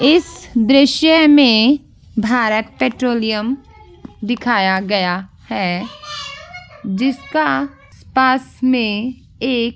इस दृशय में भारत पेट्रोलीयम दिखाया गया है जिसका पास में एक --